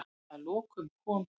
Að lokum kom